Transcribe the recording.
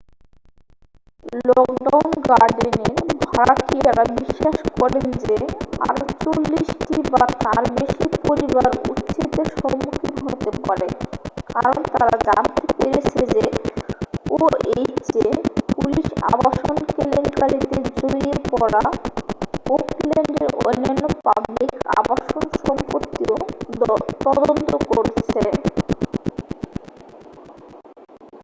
Lockwood গার্ডেনের ভাড়াটিয়ারা বিশ্বাস করেন যে আরও 40 টি বা তার বেশি পরিবার উচ্ছেদের সম্মুখীন হতে পারে কারণ তারা জানতে পেরেছে যে oha পুলিশ আবাসন কেলেঙ্কারীতে জড়িয়ে পড়া ওকল্যান্ডের অন্যান্য পাবলিক আবাসন সম্পত্তিও তদন্ত করছে